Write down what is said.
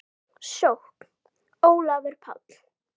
Sókn: Ólafur Páll